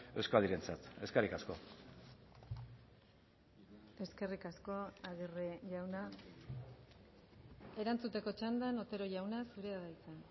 euskadirentzat eskerrik asko eskerrik asko aguirre jauna erantzuteko txandan otero jauna zurea da hitza